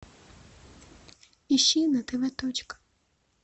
ищи на тв точка